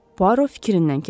Puaro fikrindən keçirdi.